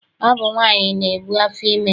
Ọ bụ nwaanyị na-ebu afọ ime.